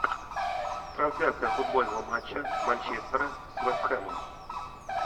трансляция футбольного матча манчестера с вест хэмом